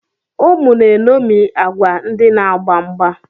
Ụmụ na-eṅomie agwa ndị na-agba mgba.